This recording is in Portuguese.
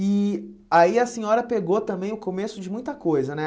E aí a senhora pegou também o começo de muita coisa, né?